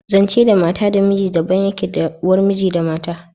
Zance da mata da miji daban yake da na uwar miji da mata